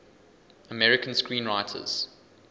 american screenwriters